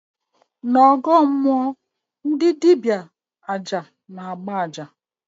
N' ọgọọ mmụọ, dibịa aja na-agba aja